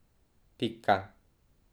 Pika.